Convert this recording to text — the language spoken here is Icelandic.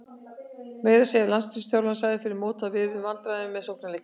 Meira að segja landsliðsþjálfarinn sagði fyrir mót að við yrðum í vandræðum með sóknarleikinn.